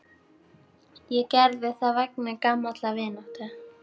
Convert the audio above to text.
Ég gerði það vegna gamallar vináttu.